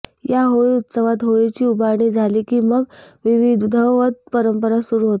या होळी उत्सवात होळीची उभारणी झाली की मग विधीवत परंपरा सुरू होतात